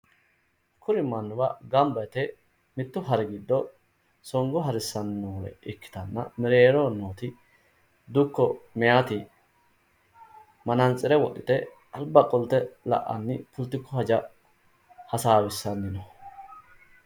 Kuri mannuwa mittowa gamba yite mittu hari giddo songo harissanni noore ikkitanna mereeroho nooti dukko meyaati manantsire wodhite alba qolte la'anni politiku haja hasaawissanni no.